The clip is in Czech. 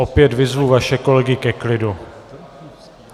Opět vyzvu vaše kolegy ke klidu.